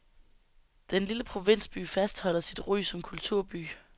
Den lille provinsby fastholder sit ry som kulturby.